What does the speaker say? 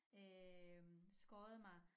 Øh skåret mig